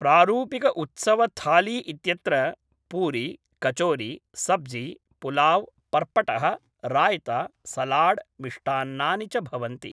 प्रारूपिकउत्सवथाली इत्यत्र पूरी कचोरी सब्जी पुलाव् पर्पटः राय्ता सलाड् मिष्टान्नानि च भवन्ति